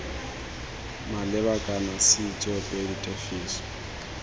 maleba kana c tsoopedi tefiso